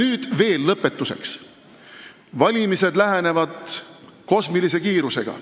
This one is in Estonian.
Lõpetuseks veel nii palju, et valimised lähenevad kosmilise kiirusega.